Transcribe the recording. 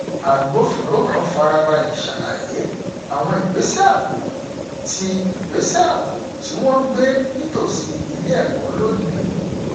agbófinró kan farabalẹ ṣàlàyé àwọn ìgbésẹ ààbò tí ìgbésẹ ààbò tí wọn gbé nítòsí ilé ẹkọ lónìí